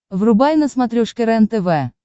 врубай на смотрешке рентв